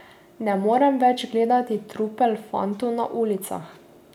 Ne morem več gledati trupel fantov na ulicah.